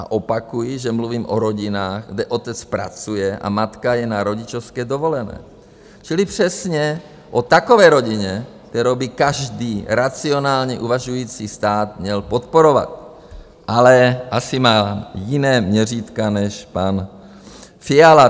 A opakuji, že mluvím o rodinách, kde otec pracuje a matka je na rodičovské dovolené, čili přesně o takové rodině, kterou by každý racionálně uvažující stát měl podporovat, ale asi má jiné měřítka než pan Fiala."